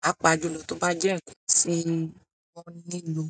Pàápaajùlọ tó bá jẹ́ nkán sì wọ́n nílò.